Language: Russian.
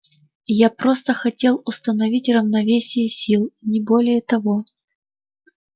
я просто хотел установить равновесие сил не более того